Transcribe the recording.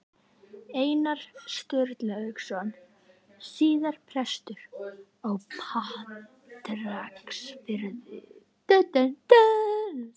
Einar Sturlaugsson, síðar prestur á Patreksfirði.